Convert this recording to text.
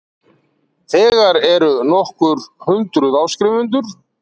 Þegar eru nokkur hundruð áskrifendur